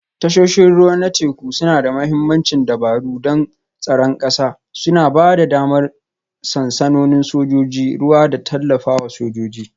Tashoshin ruwa na teku suna da mahimmancin dabaru don tsaron ƙasa, suna ba da damar sansanonin sojojin ruwa da tallafawa sojoji